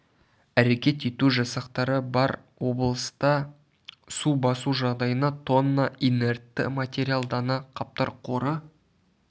әрекет ету жасақтары бар облыста су басу жағдайына тн инертті материал дана қаптар қоры